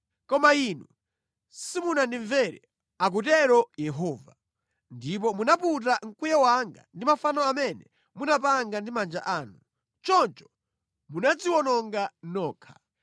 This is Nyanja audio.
“Koma inu simunandimvere,” akutero Yehova, “ndipo munaputa mkwiyo wanga ndi mafano amene munapanga ndi manja anu. Choncho munadziwononga nokha.”